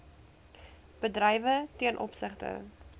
bedrywe ten opsigte